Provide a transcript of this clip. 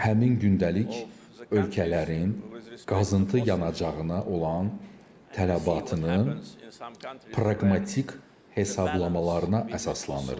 Həmin gündəlik ölkələrin qazıntı yanacağına olan tələbatının praqmatik hesablamalarına əsaslanırdı.